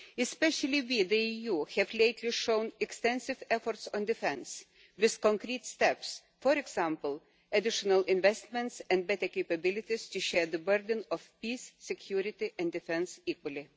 Especially we, the EU, have lately shown extensive efforts on defence, with concrete steps for example, additional investments and better capabilities to share the burden of peace, security and defence equally.